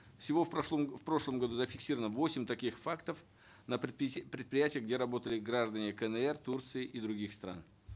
всего в в прошлом году зафиксировано восемь таких фактов на предприятиях где работали граждане кнр турции и других стран